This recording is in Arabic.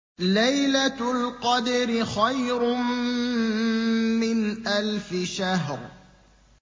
لَيْلَةُ الْقَدْرِ خَيْرٌ مِّنْ أَلْفِ شَهْرٍ